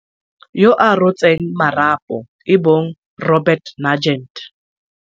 yo a rotseng marapo e bong Robert Nugent.